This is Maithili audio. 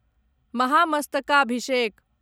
महामस्तकाभिषेक